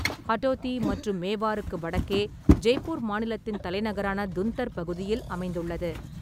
ஹடோதி மற்றும் மேவாருக்கு வடக்கே ஜெய்ப்பூர் மாநிலத்தின் தலைநகரான துந்தர் பகுதியில் அமைந்துள்ளது.